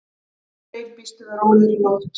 Freyr: Býstu við rólegri nótt?